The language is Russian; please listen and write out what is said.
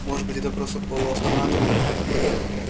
может быть это просто полуавтоматы